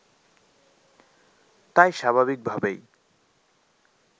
তাই স্বাভাবিকভাবেই